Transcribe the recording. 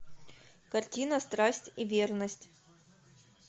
картина страсть и верность